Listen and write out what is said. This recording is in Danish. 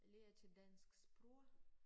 Lærte dansk sprog